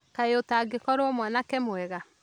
Kaĩ ũtangĩkorwo mwanake mwega?